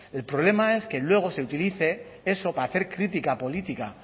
el problema es que luego se utilice eso para hacer crítica política